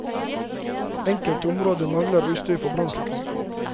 Enkelte områder mangler utstyr for brannslukking.